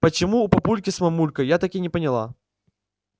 почему у папульки с мамулькой я так и не поняла